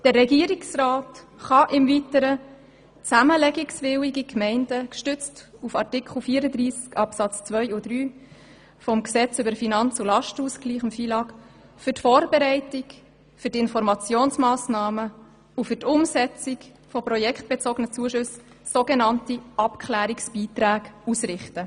Aufgrund von Artikel 34, Absatz 2 und 3 des Gesetzes über den Finanz- und Lastenausgleich (FILAG) kann der Regierungsrat zudem zusammenlegungswilligen Gemeinden für Vorbereitung, Informationsmassnahmen und Umsetzung projektbezogene Zuschüssen, so genannte Abklärungsbeiträge, ausrichten.